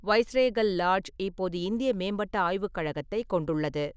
Viceregal lodge இப்போது இந்திய மேம்பட்ட ஆய்வுக் கழகத்தைக் கொண்டுள்ளது.